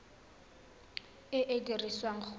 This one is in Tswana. e e ka dirisiwang go